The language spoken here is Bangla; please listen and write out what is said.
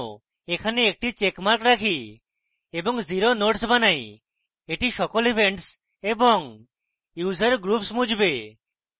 এখানে একটি চেকমার্ক রাখি এবং 0 nodes বানাই এটি সকল events এবং user groups মুছবে